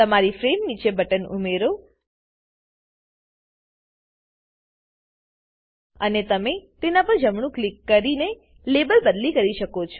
તમારી ફ્રેમ નીચે બટન ઉમેરો અને તમે તેના પર જમણું ક્લિક કરીને લેબલ બદલી કરી શકો છો